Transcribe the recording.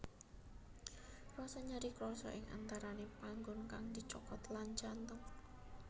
Rasa nyeri krasa ing antarane panggon kang dicokot lan jantung